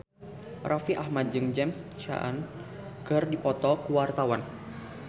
Raffi Ahmad jeung James Caan keur dipoto ku wartawan